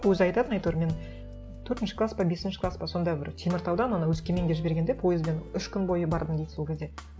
өзі айтатын әйтеуір мен төртінші класс па бесінші класс па сонда бір теміртаудан ана өскеменге жібергенде пойызбен үш күн бойы бардым дейді сол кезде